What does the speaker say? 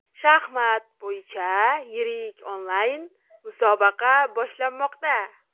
Shaxmat bo‘yicha yirik onlayn musobaqa boshlanmoqda.